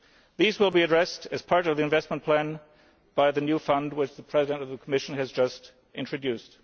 These will be addressed as part of the investment plan by the new fund which the President of the Commission has just introduced.